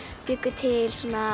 bjuggu til